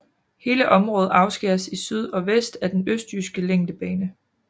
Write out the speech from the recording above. Hele området afskæres i syd og vest af Den Østjyske Længdebane